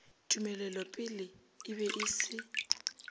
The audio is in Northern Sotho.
tumelelopele e be e se